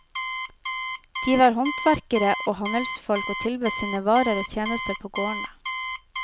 De var håndverkere og handelsfolk og tilbød sine varer og tjenester på gårdene.